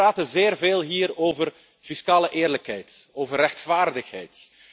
Wij praten hier zeer veel over fiscale eerlijkheid, over rechtvaardigheid.